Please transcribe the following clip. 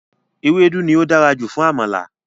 Ewédú ni ó dára jù fún Àmàlà